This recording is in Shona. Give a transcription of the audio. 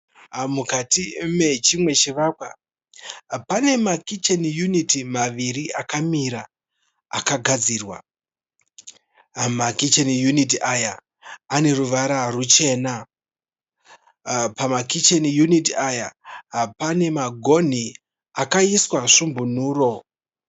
Mukati mechimwe chivakwa pane makicheni uniti maviri akamira akagadzirwa. Makicheni uniti aya ane ruvara ruchena. Pamakicheni uniti aya pane magoni akaiswa svombonuro.